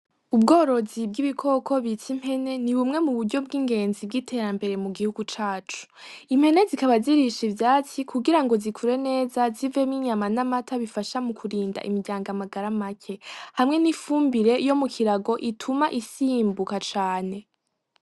Ubworozi bw'ibikoko bita impene nibumwe muburyo bw'ingenzi bw'iterambere mugihugu cacu. Impene zikaba zirisha ivyatsi kugirango zikure neza zivemwo inyama n'amata bifasha mukurinda imiryango amagara make. Hamwe n'ifumbire yomukirago ituma isimbuka cane.